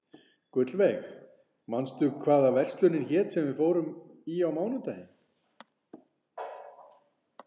Gullveig, manstu hvað verslunin hét sem við fórum í á mánudaginn?